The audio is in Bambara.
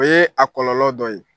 O yee a kɔlɔlɔ dɔ ye.